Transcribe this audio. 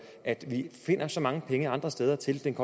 at vi finder så mange penge andre steder til den